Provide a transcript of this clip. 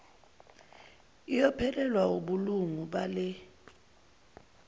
iyophelelwa wubulungu bale